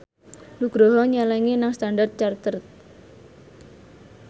Nugroho nyelengi nang Standard Chartered